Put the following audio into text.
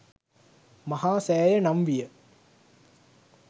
මහා සෑය නම් විය.